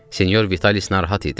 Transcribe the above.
Senyor Vitalis narahat idi.